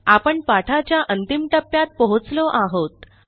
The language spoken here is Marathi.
आपण पाठाच्या अंतिम टप्प्यात पोहोचलो आहोत